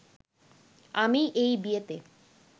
আমি এই বিয়েতে